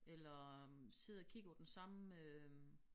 Eller sidder og kigger på den samme øh